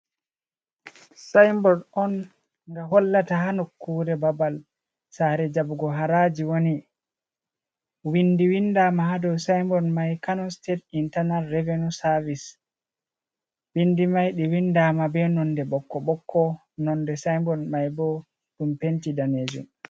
Sinbord on ga hollata ha nokkure babal sare jaɓɓugo haraji, wani windama ha dou simbord mai kano state internal revenu service, windi mai ɗi windama be nonde ɓokko ɓokko, nonde simbord mai bo ɗum penti ɗanejum.